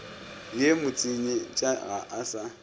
ye motsenyetša ga a sa